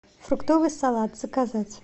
фруктовый салат заказать